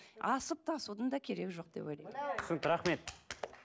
асып тасудың да керегі жоқ деп ойлаймын түсінікті рахмет